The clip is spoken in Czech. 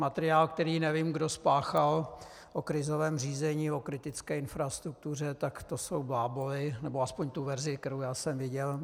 Materiál, který nevím kdo spáchal, o krizovém řízení, o kritické infrastruktuře, tak to jsou bláboly, nebo aspoň ta verze, kterou já jsem viděl.